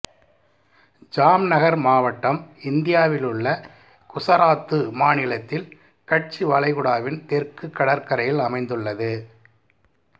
ஜாம்நகர் மாவட்டம் இந்தியாவில் உள்ள குசராத்து மாநிலத்தில் கட்ச் வளைகுடாவின் தெற்கு கடற்கரையில் அமைந்துள்ளது